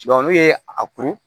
n'u ye a kuru